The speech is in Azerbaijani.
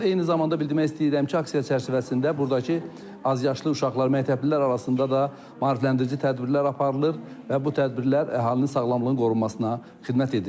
Eyni zamanda bildirmək istəyirəm ki, aksiya çərçivəsində burdakı azyaşlı uşaqlar, məktəblilər arasında da maarifləndirici tədbirlər aparılır və bu tədbirlər əhalinin sağlamlığının qorunmasına xidmət edir.